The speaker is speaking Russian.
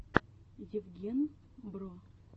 евген бро